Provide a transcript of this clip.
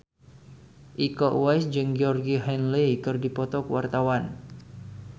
Iko Uwais jeung Georgie Henley keur dipoto ku wartawan